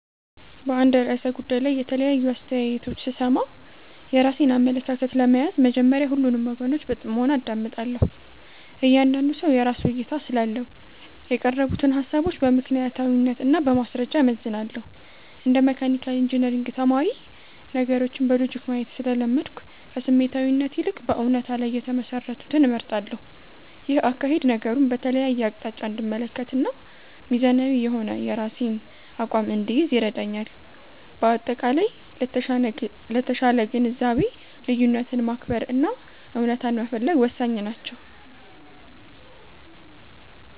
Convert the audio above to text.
በአንድ ርዕሰ ጉዳይ ላይ የተለያዩ አስተያየቶች ስሰማ፣ የራሴን አመለካከት ለመያዝ መጀመሪያ ሁሉንም ወገኖች በጥሞና አዳምጣለሁ። እያንዳንዱ ሰው የራሱ እይታ ስላለው፣ የቀረቡትን ሃሳቦች በምክንያታዊነት እና በማስረጃ እመዝናለሁ። እንደ መካኒካል ኢንጂነሪንግ ተማሪ፣ ነገሮችን በሎጂክ ማየት ስለለመድኩ፣ ከስሜታዊነት ይልቅ በእውነታ ላይ የተመሰረቱትን እመርጣለሁ። ይህ አካሄድ ነገሩን በተለያየ አቅጣጫ እንድመለከትና ሚዛናዊ የሆነ የራሴን አቋም እንድይዝ ይረዳኛል። በአጠቃላይ፣ ለተሻለ ግንዛቤ ልዩነትን ማክበር እና እውነታን መፈለግ ወሳኝ ናቸው።